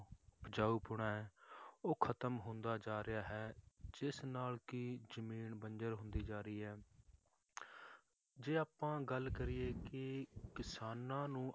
ਉਪਜਾਊਪੁਣਾ ਹੈ ਉਹ ਖਤਮ ਹੁੰਦਾ ਜਾ ਰਿਹਾ ਹੈ ਜਿਸ ਨਾਲ ਕਿ ਜ਼ਮੀਨ ਬੰਜ਼ਰ ਹੁੰਦੀ ਜਾ ਰਹੀ ਹੈ ਜੇ ਆਪਾਂ ਗੱਲ ਕਰੀਏ ਕਿ ਕਿਸਾਨਾਂ ਨੂੰ